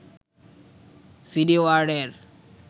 CD ওয়ার্ডের